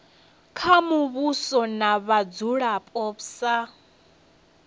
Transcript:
kha muvhuso na vhadzulapo sa